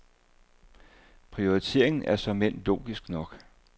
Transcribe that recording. Prioriteringen er såmen logisk nok.